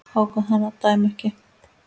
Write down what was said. Ákvað hann að dæma ekki?